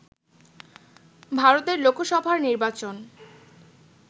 ভারতের লোকসভার নির্বাচন